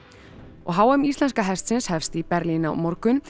og h m íslenska hestsins hefst í Berlín á morgun